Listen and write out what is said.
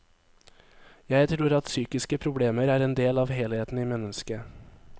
Jeg tror at psykiske problemer er en del av helheten i mennesket.